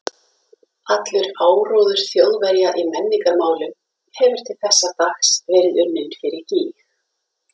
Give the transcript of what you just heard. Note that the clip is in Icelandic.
Allur áróður Þjóðverja í menningarmálum hefur til þessa dags verið unninn fyrir gýg.